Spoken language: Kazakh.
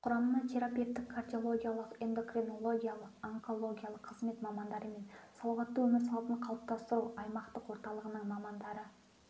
құрамына терапевтік кардиологиялық эндокринологиялық онкологиялық қызмет мамандары мен салауатты өмір салтын қалыптастыру аймақтық орталығының мамандары